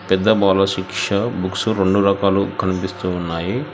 పెద్ద బాలశిక్ష బుక్సు రెండు రకాలుగా కనిపిస్తున్నాయి.